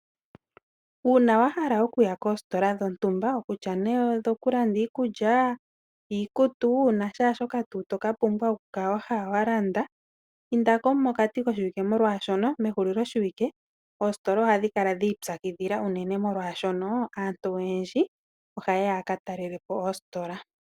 Uuna wa hala okuya koostola dho ntumba, kutya nee odho kunda iikulya, iikutu, na sha shoka tuu to kala wa hala wa landa, indalo mokati koshiwike molwaashoka ke hulilo lyo shiwike oositola ohadhi kala dhiitsakidhila oshoka aantu oyendji oha yeya ya ka talelepo oositola.